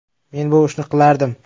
“Men bu ishni qilardim.